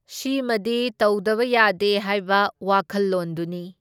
ꯁꯤꯃꯗꯤ ꯇꯧꯗꯕ ꯌꯥꯗꯦ ꯍꯥꯏꯕ ꯋꯥꯈꯜꯂꯣꯟꯗꯨꯅꯤ꯫